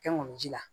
Kɛ ŋɔni ji la